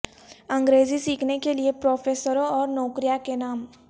انگریزی سیکھنے کے لئے پروفیسروں اور نوکریاں کے نام